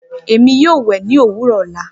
Emi yoo wẹ mi ni owurọ ọla.